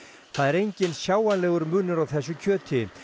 það er enginn sjáanlegur munur á þessu kjöti